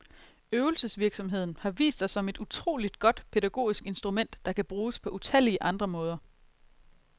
Øvelsesvirksomheden har vist sig som et utroligt godt, pædagogisk instrument, der kan bruges på utallige andre måder.